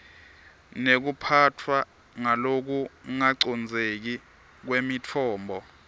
nekuphatfwa ngalokungacondzeki kwemitfombo